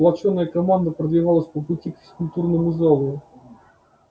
сплочённая команда продвигалась по пути к физкультурному залу